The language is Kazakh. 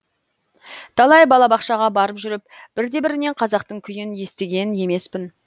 талай балабақшаға барып жүріп бірде бірінен қазақтың күйін естіген емеспін